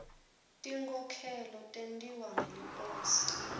tinkhokhelo tentiwa ngeliposi